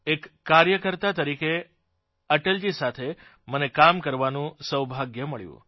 એક કાર્યકર્તા તરીકે અટલજી સાથે મને કામ કરવાનું સૌભાગ્ય મળ્યું